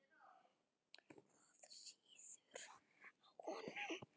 Það sýður á honum.